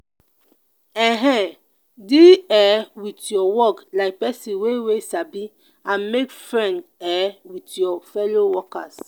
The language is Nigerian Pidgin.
um deal um with your work like person wey wey sabi and make friend um with your fellow workers